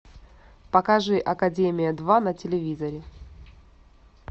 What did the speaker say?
покажи академия два на телевизоре